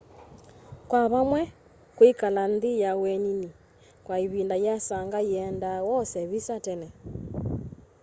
kwa vamwe kwĩkala nthĩ ya ũenĩnĩ kwa ĩvĩnda yĩasanga yĩenda wose vĩsa tene